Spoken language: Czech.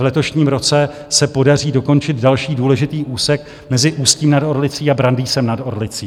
V letošním roce se podaří dokončit další důležitý úsek mezi Ústím nad Orlicí a Brandýsem nad Orlicí.